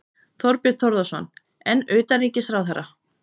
Þorbjörn Þórðarson: En utanríkisráðherra?